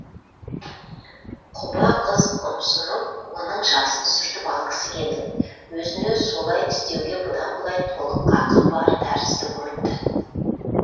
құба қыз ұмсынып оның жасын сүртіп алғысы келді өзіне солай істеуге бұдан былай толық қақы бар тәрізді көрінді